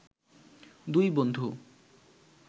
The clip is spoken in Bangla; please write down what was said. দুই বন্ধু